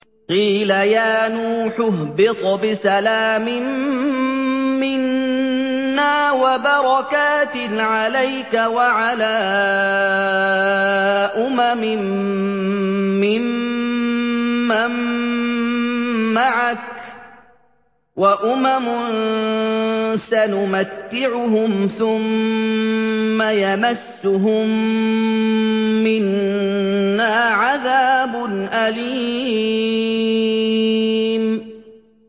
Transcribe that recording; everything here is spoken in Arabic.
قِيلَ يَا نُوحُ اهْبِطْ بِسَلَامٍ مِّنَّا وَبَرَكَاتٍ عَلَيْكَ وَعَلَىٰ أُمَمٍ مِّمَّن مَّعَكَ ۚ وَأُمَمٌ سَنُمَتِّعُهُمْ ثُمَّ يَمَسُّهُم مِّنَّا عَذَابٌ أَلِيمٌ